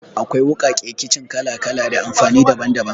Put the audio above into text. Akwai wuƙaƙe kicin kala-kala da amfani daban-daban.